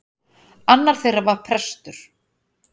Annar þeirra var prestur.